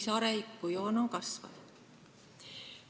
See arengujoon on kasvanud.